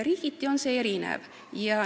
Riigiti on see erinev.